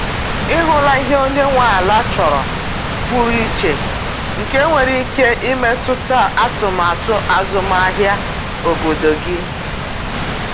Ị hụla ihe onye nwe ala chọrọ pụrụ iche nke nwere ike imetụta atụmatụ azụmahịa obodo gị?